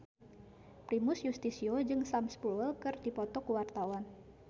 Primus Yustisio jeung Sam Spruell keur dipoto ku wartawan